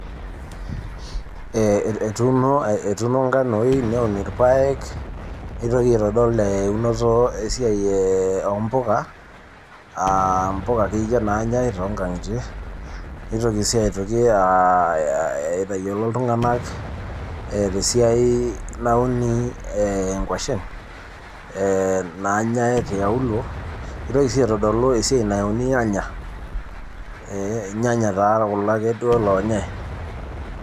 etuuno etuuno nkanoi neun ilpaek neitoki aitodol eunoto esiai oo mpuka aa mpuka ake iyie naanyae too nkangitie neitoki sii aitoki aitayiolo iltunganak te siai nauni inkuashen naanyae tiaulo neitokii sii aitodolu esiai nauni ilnyanya , ilnyanya taa kulo duo ake lanayae